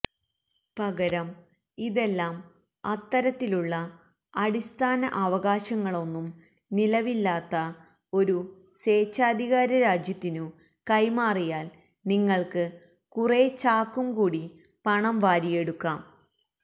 പകരം ഇതെല്ലാം അത്തരത്തിലുള്ള അടിസ്ഥാന അവകാശങ്ങളൊന്നും നിലവില്ലാത്ത ഒരു സ്വേച്ഛാധികാരരാജ്യത്തിനു കൈമാറിയാൽ നിങ്ങൾക്ക് കുറേ ചാക്കും കൂടി പണം വാരിയെടുക്കാം